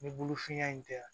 Ni bolofinya in tɛ yan